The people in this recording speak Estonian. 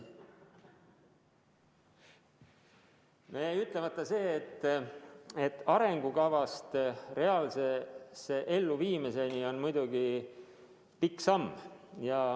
Jäi ütlemata see, et arengukava reaalse elluviimiseni on muidugi pikk samm.